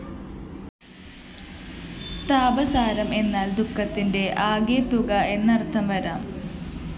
താപസാരം എന്നാല്‍ ദുഃഖത്തിന്റെ ആകെത്തുക എന്നര്‍ഥം വരാം